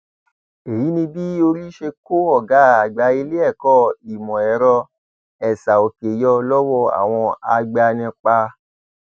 èyí ni bí orí ṣe kó ọgá àgbà iléẹkọ ìmọẹrọ esaòkè yọ lọwọ àwọn agbanipa